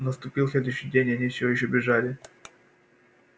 наступил следующий день а они всё ещё бежали